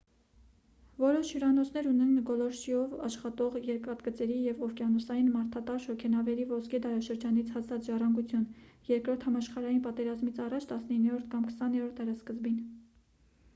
որոշ հյուրանոցներ ունեն գոլորշիով աշխատող երկաթգծերի և օվկիանոսային մարդատար շոգենավերի ոսկե դարաշրջանից հասած ժառանգություն երկրորդ համաշխարհային պատերազմից առաջ 19-րդ կամ 20-րդ դարասկզբին